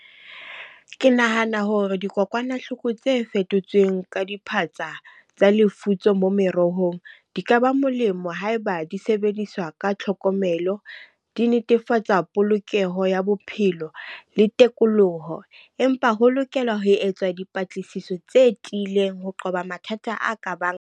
Ke nahana hore dikokwanahloko tse fetotsweng ka diphatsa tsa lefutso mo merohong. Di ka ba molemo haeba di sebediswa ka tlhokomelo. Di netefatsa polokeho ya bophelo le telekoloho. Empa ho lokela ho etswa dipatlisiso tse tiileng ho qoba mathata a ka bang.